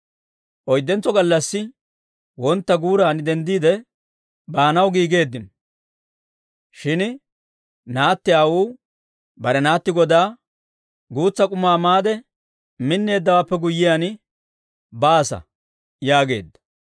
Oyddentso gallassi wontta guuran denddiide, baanaw giigeeddino. Shin naatti aawuu bare naatti godaa, «Guutsa k'umaa maade, minneeddawaappe guyyiyaan baasa» yaageedda.